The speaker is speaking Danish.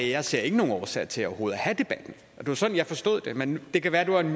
jeg ser ikke nogen årsag til overhovedet at have debatten det var sådan jeg forstod det men det kan være det var en